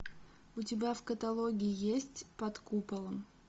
у тебя в каталоге есть под куполом